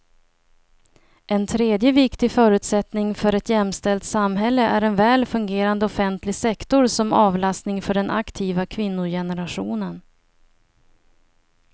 En tredje viktig förutsättning för ett jämställt samhälle är en väl fungerande offentlig sektor som avlastning för den aktiva kvinnogenerationen.